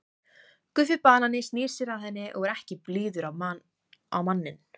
Guffi banani snýr sér að henni og er ekki blíður á manninn.